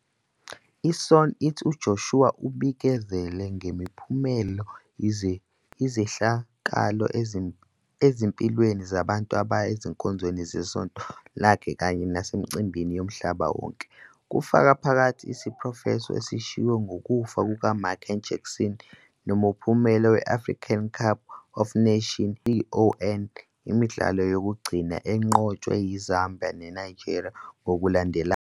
I-SCOAN ithi uJoshua ubikezele ngempumelelo izehlakalo ezimpilweni zabantu abaya ezinkonzweni zesonto lakhe kanye nasemicimbini yomhlaba wonke, kufaka phakathi isiprofetho esishiwo ngokufa kukaMichael Jackson, nomphumela we-African Cup of Nations, i-AFCON, imidlalo yokugcina, enqotshwe yiZambia neNigeria ngokulandelana.